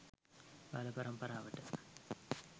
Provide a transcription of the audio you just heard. බාල පරම්පරාවට